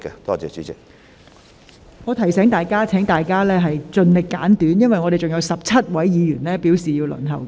我提醒議員，請各位提問時盡量精簡，因為尚有17位議員正在輪候提問。